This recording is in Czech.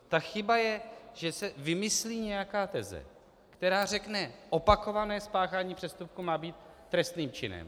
Ta chyba je, že se vymyslí nějaká teze, která řekne: Opakované spáchání přestupku má být trestným činem.